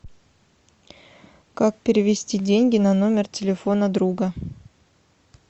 как перевести деньги на номер телефона друга